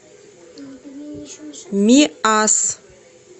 миасс